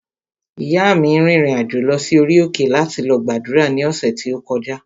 Ìyáa mi rìnrìn-àjò lọ sí orí òkè láti lọ gbàdúrà ní ọ̀sẹ̀ tí ó kọjá